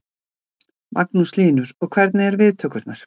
Magnús Hlynur: Og hvernig eru viðtökurnar?